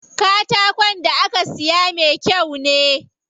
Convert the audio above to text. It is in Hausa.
Katakon da aka siyo me kyau ne.